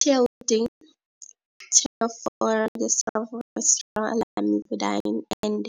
TLD, Tenofovir disoproxil, Lamivudine and